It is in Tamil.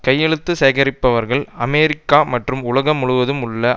கையெழுத்து சேகரிப்பவர்கள் அமெரிக்கா மற்றும் உலகம் முழுவதும் உள்ள